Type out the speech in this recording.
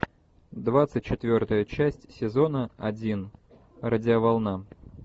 двадцать четвертая часть сезона один радиоволна